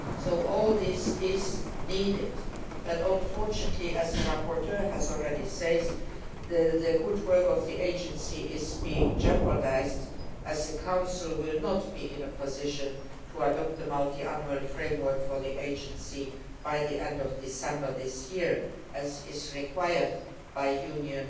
So all this is needed but unfortunately, as the rapporteur has already said, the good work of the agency is being jeopardised, as the Council will not be in a position to adopt the Multiannual Framework for the agency by the end of December this year, as required by Union